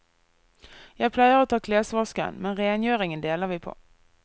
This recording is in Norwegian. Jeg pleier å ta klesvasken, men rengjøringen deler vi på.